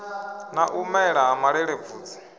na u mela ha malelebvudzi